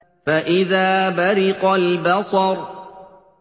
فَإِذَا بَرِقَ الْبَصَرُ